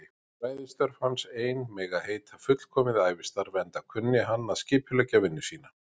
Fræðistörf hans ein mega heita fullkomið ævistarf, enda kunni hann að skipuleggja vinnu sína.